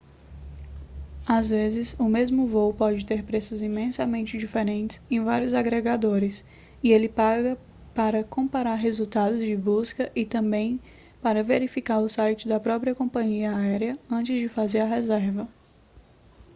às vezes o mesmo voo pode ter preços imensamente diferentes em vários agregadores e ele paga para comparar resultados de busca e também para verificar o site da própria companhia área antes de fazer a reserva